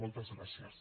moltes gràcies